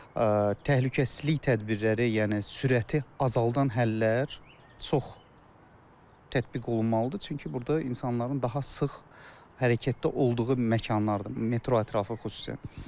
Təhlükəsizlik tədbirləri, yəni sürəti azaldan həllər çox tətbiq olunmalıdır, çünki burda insanların daha sıx hərəkətdə olduğu məkanlardır, metro ətrafı xüsusilə.